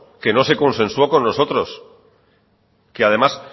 que no se consensuó con nosotros además